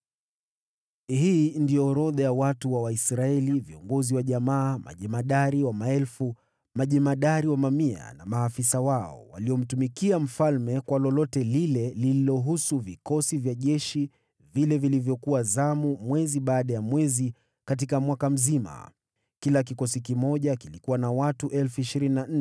Hii ndiyo orodha ya Waisraeli: viongozi wa jamaa, majemadari wa maelfu, majemadari wa mamia na maafisa wao, waliomtumikia mfalme kwa lolote lililohusu vikosi vya jeshi vilivyokuwa zamu mwezi baada ya mwezi katika mwaka mzima. Kila kikosi kimoja kilikuwa na watu 24,000.